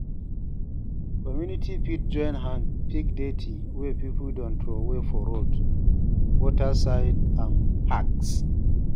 Community fit join hand pick dirty wey pipo don trowey for road, water side and parks